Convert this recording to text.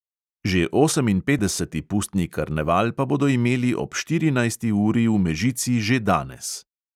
Že oseminpetdeseti pustni karneval pa bodo imeli ob štirinajsti uri v mežici že danes.